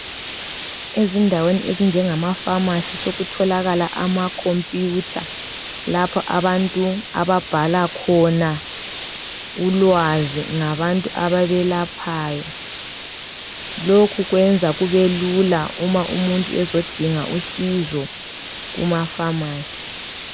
Ezindaweni ezinjengemafamasi sokutholakala amakhompuyutha lapho abantu ababhala khona ngabantu ababalphayo. Lokhu kwenza kubelula nxa umuntu ezodinga usizo kumafamasi.